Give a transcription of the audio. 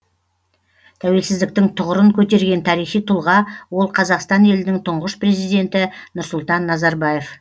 тәуелсіздіктің тұғырын көтерген тарихи тұлға ол қазақстан елінің тұңғыш президенті нұрсұлтан назарбаев